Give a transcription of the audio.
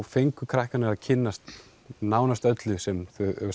fengu krakkarnir að kynnast nánast öllu sem